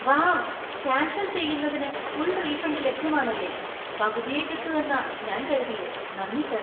Wow! Cancel‍ ചെയ്യുന്നതിന് full‍ refund ലഭ്യമാണല്ലേ, പകുതിയേ കിട്ടു എന്നാ ഞാൻ കരുതിയേ. നന്ദി സർ